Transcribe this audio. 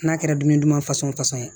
N'a kɛra dumuni duman fason ye